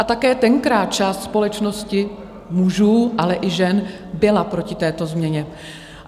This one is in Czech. A také tenkrát část společnosti mužů, ale i žen byla proti této změně.